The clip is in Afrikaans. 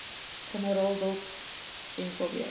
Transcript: generaal dot mkb